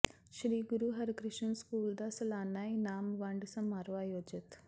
ਸ੍ਰੀ Guru Harkrishan school ਦਾ ਸਲਾਨਾ ਇਨਾਮ ਵੰਡ ਸਮਾਰੋਹ ਆਯੋਜਿਤ